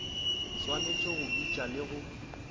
swanetše go bitša le go